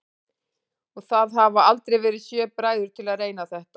Og það hafa aldrei verið sjö bræður til að reyna þetta?